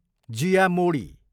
जिया मोडी